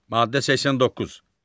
Maddə 89.